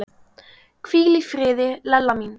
Hvíl í friði, Lella mín.